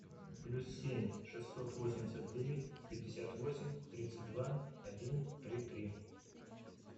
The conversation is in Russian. плюс семь шестьсот восемьдесят девять пятьдесят восемь тридцать два один три три